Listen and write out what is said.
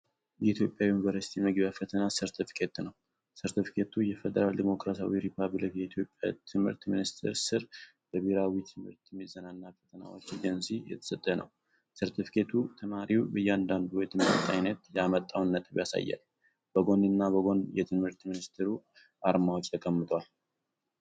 የኢትዮጵያ ዩኒቨርሲቲ መግቢያ ፈተና ሰርተፍኬት ነው። ሰርተፍኬቱ በፌዴራል ዲሞክራሲያዊ ሪፐብሊክ የኢትዮጵያ ትምህርት ሚኒስቴር ስር በብሔራዊ ትምህርት ምዘናና ፈተናዎች ኤጀንሲ የተሰጠ ነው። ሰርተፍኬቱ ተማሪው በእያንዳንዱ የትምህርት ዓይነት ያመጣውን ነጥብ ያሳያል፡ በጎንና በጎን የትምህርት ሚኒስቴሩ አርማዎች ተቀምጠዋል።